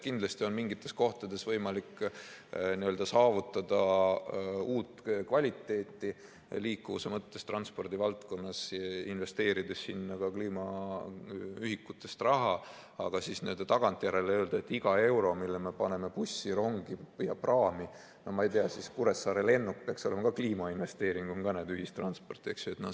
Kindlasti on mingites kohtades võimalik saavutada uut kvaliteeti liikuvuse mõttes transpordi valdkonnas, investeerides sinna ka kliimaühikutest raha, aga tagantjärele öelda, et iga euro, mille me paneme bussi, rongi ja praami, no ma ei tea, siis Kuressaare lennuk peaks olema ka kliimainvesteering, see on ka ühistransport.